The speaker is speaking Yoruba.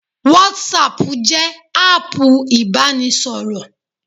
Whatsapp jẹ́ áàpù ìbánisọ̀rọ̀